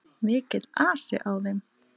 Mikill asi á þeim.